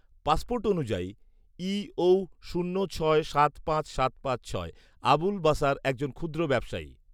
passport অনুযায়ী E O শূন্য ছয় সাত পাঁচ সাত পাঁচ ছয় আবুল বাশার একজন ক্ষুদ্র ব্যবসায়ী